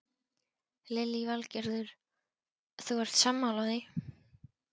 Lillý Valgerður: Þú ert sammála því?